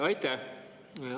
Aitäh!